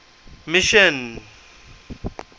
mission